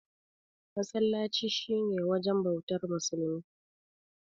Masallaci shi ne wajen bautar musulmi.